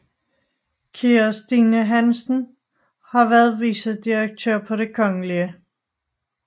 Kira Stine Hansen har været vicedirektør på Det Kgl